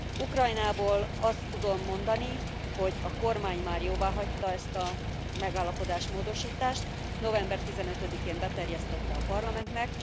Ukrajnában, azt tudom mondani, hogy a kormány már jóváhagyta ezt a megállapodás módosítást, november 15 én beterjesztette a parlamentnek.